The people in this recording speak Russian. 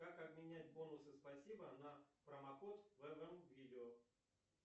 как обменять бонусы спасибо на промокод в эм видео